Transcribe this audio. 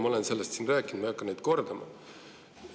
Ma olen sellest siin rääkinud ja ei hakka seda kordama.